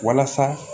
Walasa